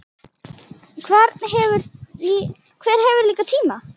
Hver hefur líka tíma?